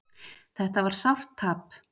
Þetta var sárt tap